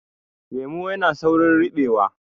Lemo yana saurin ribewa